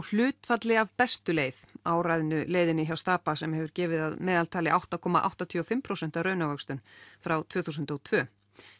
hlutfalli af bestu leið leiðinni hjá Stapa sem hefur gefið að meðaltali átta komma áttatíu og fimm prósent raunávöxtun frá tvö þúsund og tvö